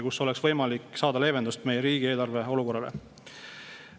Nii oleks võimalik saada leevendust meie riigieelarve olukorrale.